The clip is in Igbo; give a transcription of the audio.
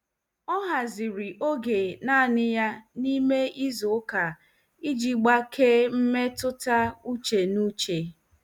Ọ haziri oge naanị ya n'ime izu ụka iji gbakee mmetụta uche na uche.